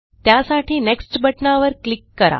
त्यासाठी नेक्स्ट बटणावर क्लिक करा